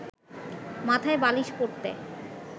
মাথায় বালিশ পড়তে